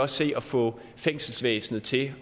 se at få fængselsvæsenet til